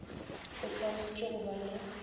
o swanetše go ba le